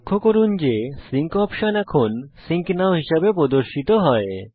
লক্ষ্য করুন যে সিঙ্ক অপশন এখন সিঙ্ক নও হিসেবে প্রদর্শিত হয়